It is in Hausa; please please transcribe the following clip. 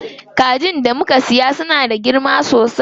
Kajin da muka siya suna da girma sosai.